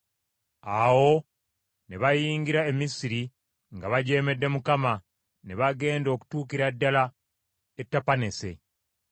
Awo ne bayingira e Misiri nga bajeemedde Mukama , ne bagenda okutuukira ddala e Tapaneese.